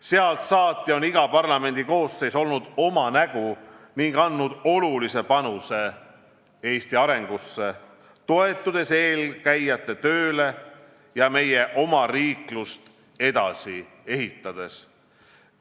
Sealt saati on iga parlamendikoosseis olnud oma nägu ning andnud olulise panuse Eesti arengusse, toetudes eelkäijate tööle ja ehitades edasi meie omariiklust.